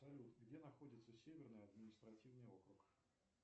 салют где находится северный административный округ